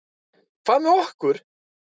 Hvað með okkur?